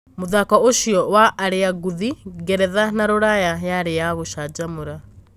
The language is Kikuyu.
Mũthako ũcio wa arĩa ngũthi Ngeretha na Ruraya yari ya gũcanjamũra.